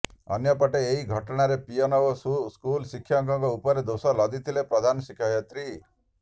ଅନ୍ୟପଟେ ଏହି ଘଟଣାରେ ପିଅନ ଓ ସ୍କୁଲ ଶିକ୍ଷକଙ୍କ ଉପରେ ଦୋଷ ଲଦିଥିଲେ ପ୍ରଧାନଶିକ୍ଷୟିତ୍ରୀ